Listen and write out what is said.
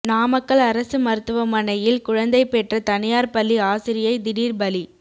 நாமக்கல் அரசு மருத்துவமனையில் குழந்தை பெற்ற தனியார் பள்ளி ஆசிரியை திடீர் பலி